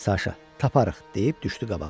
Saşa, taparıq, deyib düşdü qabağa.